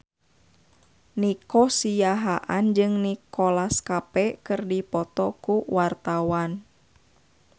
Nico Siahaan jeung Nicholas Cafe keur dipoto ku wartawan